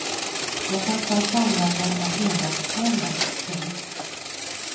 Jag kan knappt använda en engångskamera. punkt